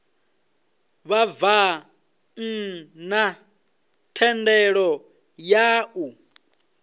vhabvann ḓa thendelo ya u